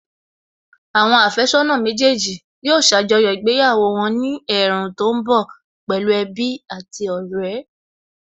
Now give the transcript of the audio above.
Àwọn àfẹ́sọ́nà méjèèjì yóò ṣàjọyọ̀ ìgbéyàwó wọn ní ẹ̀ẹ̀rùn tó ń bọ̀ pẹ̀lú ẹbí àti ọ̀rẹ́